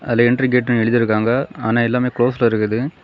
அதுல என்ட்ரிகேட்ன்னு எழுதிருக்காங்க ஆனா எல்லாமே கிளோஸ்ட்ல இருக்குது.